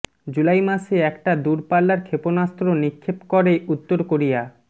জুলাই মাসে একটা দুরপাল্লার ক্ষেপণাস্ত্র নিক্ষেপ করে উত্তর কোরিয়া